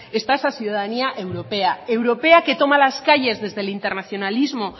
está esa ciudadanía europea europea que toma las calles desde el internacionalismo